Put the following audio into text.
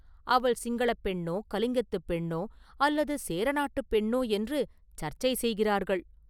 அவள் சிங்களப் பெண்ணோ, கலிங்கத்துப் பெண்ணோ, அல்லது சேர நாட்டுப் பெண்ணோ என்று சர்ச்சை செய்கிறார்கள்!